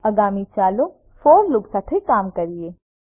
આગામી ચાલો for loop સાથે કામ કરીએ